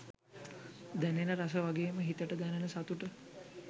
දැනෙන රස වගේම හිතට දැනෙන සතුට